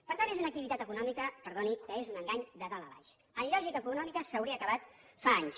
per tant és una activitat econòmica perdoni que és un engany de dalt a baix en lògica econòmica s’hauria acabat fa anys